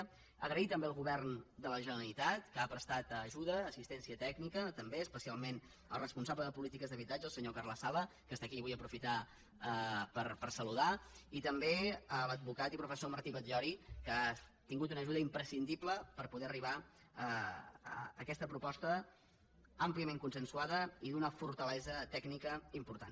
donar les gràcies també al govern de la generalitat que ha prestat ajuda assistència tècnica també especialment al responsable de polítiques d’habitatge el senyor carles sala que és aquí i vull aprofitar per saludar lo i també a l’advocat i professor martí batllori que ha sigut una ajuda imprescindible per poder arribar a aquesta proposta àmpliament consensuada i d’una fortalesa tècnica important